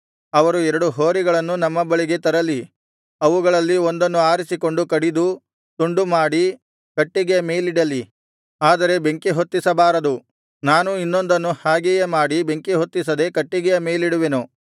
ಅವರು ಎರಡು ಹೋರಿಗಳನ್ನು ನಮ್ಮ ಬಳಿಗೆ ತರಲಿ ಅವುಗಳಲ್ಲಿ ಒಂದನ್ನು ಆರಿಸಿಕೊಂಡು ಕಡಿದು ತುಂಡು ಮಾಡಿ ಕಟ್ಟಿಗೆಯ ಮೇಲಿಡಲಿ ಆದರೆ ಬೆಂಕಿಹೊತ್ತಿಸಬಾರದು ನಾನೂ ಇನ್ನೊಂದನ್ನು ಹಾಗೆಯೇ ಮಾಡಿ ಬೆಂಕಿಹೊತ್ತಿಸದೆ ಕಟ್ಟಿಗೆಯ ಮೇಲಿಡುವೆನು